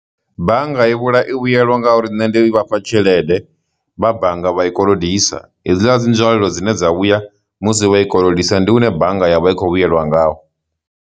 Bannga i vhuḽa, i vhuyelwa ngauri nne ndi vhafha tshelede vha bannga vha i kolodisa, hedzila dzi nzwalelo dzine dza vhuya musi vha i kolodisa ndi hune bannga ya vha i khou vhuyelwa ngaho.